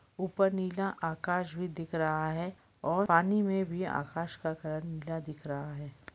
ऊपर नीला आकाश भी दिख रहा है और पानी में भी आकाश का कलर नीला दिख रहा हैं।